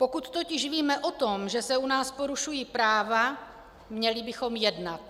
Pokud totiž víme o tom, že se u nás porušují práva, měli bychom jednat.